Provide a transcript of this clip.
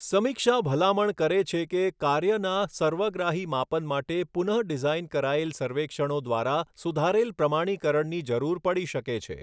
સમીક્ષા ભલામણ કરે છે કે કાર્યના સર્વગ્રાહી માપન માટે પુનઃડિઝાઇન કરાયેલ સર્વેક્ષણો દ્વારા સુધારેલ પ્રમાણીકરણની જરૂર પડી શકે છે.